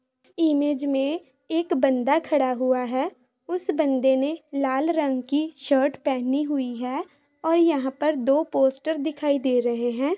Image में एक बंदा खड़ा हुआ है उस बन्दे ने लाल रंग की शर्ट पहनी हुई है और यहाँ पर दो पोस्टर दिखाई दे रहे हैं।